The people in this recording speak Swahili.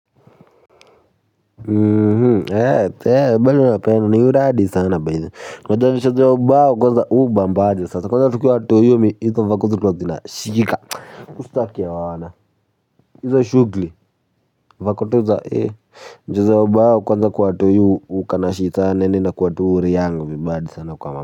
Mhm hee hee bado napenda ni uradi sana baidi kwa javisho ya ubao kwanza uba mbadi sasa kwanza tukiwa watoi hizo vako zilikuwa zinabamba hizo shughuli vako tu za ee hujaza ubao kwanza kwa watoi huwa kanashika yaani inakuwa tu riali yangu mbadi sana kwa mbadi.